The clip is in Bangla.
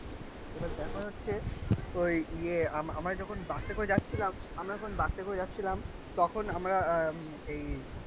এবার ব্যাপার হচ্ছে ওই ইয়ে আমরা যখন বাসে করে যাচ্ছিলাম আমরা যখন বাসে করে যাচ্ছিলাম তখন আমরা এই